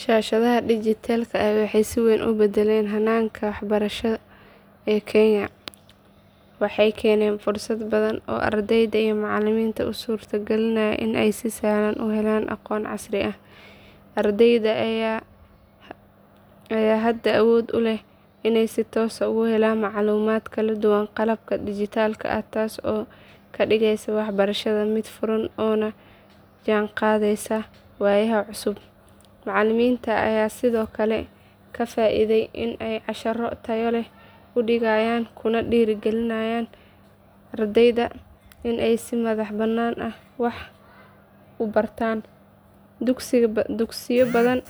Shaashadaha dhijitaalka ah waxay si weyn u beddeleen hanaanka waxbarasho ee Kenya. Waxay keeneen fursado badan oo ardayda iyo macallimiinta u suurtagelinaya inay si sahlan u helaan aqoon casri ah. Ardayda ayaa hadda awood u leh inay si toos ah uga helaan macluumaad kala duwan qalabka dhijitaalka ah taas oo ka dhigaysa waxbarashada mid furan oo la jaanqaadaysa waayaha cusub. Macallimiinta ayaa sidoo kale ka faa’iiday in ay casharro tayo leh u diyaariyaan kuna dhiirrigeliyaan ardayda in ay si madax bannaan wax u bartaan. Dugsiyo badan